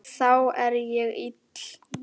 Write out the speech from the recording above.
Þá er ég ill.